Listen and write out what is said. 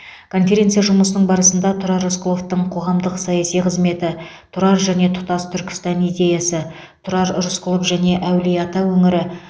конференция жұмысының барысында тұрар рысқұловтың қоғамдық саяси қызметі тұрар және тұтас түркістан идеясы тұрар рысқұлов және әулие ата өңірі